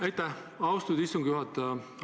Aitäh, austatud istungi juhataja!